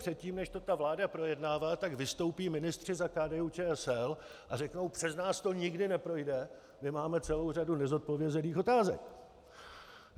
Předtím, než to ta vláda projednává, tak vystoupí ministři za KDU-ČSL a řeknou: Přes nás to nikdy neprojde, my máme celou řadu nezodpovězených otázek.